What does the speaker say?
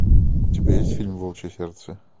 у тебя есть фильм волчье сердце